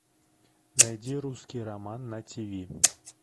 найди русский роман на тиви